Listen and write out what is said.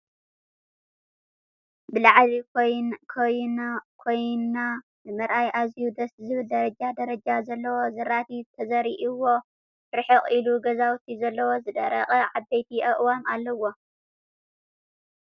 ብላዕሊ ኮይና ንምርኣዩ ኣዝዩ ደስ ዝብል ደረጃ ደረጃ ዘለዎ ዝራእቲ ተዘሪእዎ ርሕቅ ኢሉ ገዛውቲ ዘለዎ ዝደረቀ ዓበይቲ ኣእዋም ኣለዋ ።